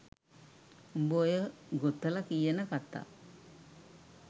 උඹ ඔය ගොතල කියන කථා